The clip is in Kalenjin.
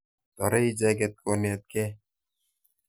Toret icheket ko netkei.